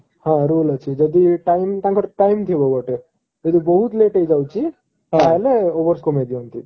ହଁ rule ଅଛି ଯଦି ତାଙ୍କର time ତାଙ୍କର time ଥିବ ଗୋଟେ ଯଦି ବହୁତ late ହେଇଯାଉଛି ତା ହେଲେ overs କମେଇ ଦିଅନ୍ତି